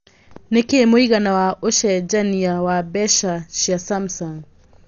nĩ kĩĩ mũigana wa ũcenjanĩa wa mbeca cia Samsung